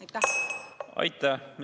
Aitäh!